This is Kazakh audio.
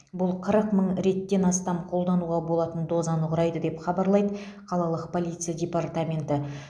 бұл қырық мың реттен астам қолдануға болатын дозаны құрайды деп хабарлайды қалалық полиция департаменті